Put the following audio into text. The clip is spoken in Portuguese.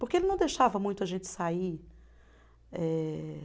Porque ele não deixava muito a gente sair. Eh